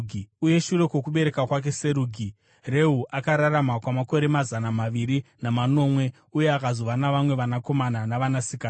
Uye shure kwokubereka kwake Serugi, Reu akararama kwamakore mazana maviri namanomwe uye akazova navamwe vanakomana navanasikana.